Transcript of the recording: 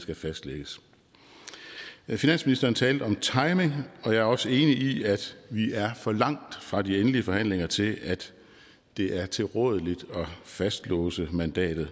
skal fastlægges finansministeren talte om timing og jeg er også enig i at vi er for langt fra de endelige forhandlinger til at det er tilrådeligt at fastlåse mandatet